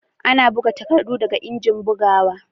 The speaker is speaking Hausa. Ana buga takardu daga injin bugawa